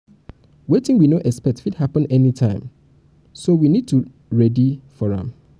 wetin we no expect fit happen any time so me need to ready for am ready for am